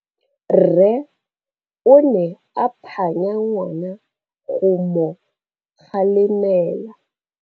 Rre o ne a phanya ngwana go mo galemela.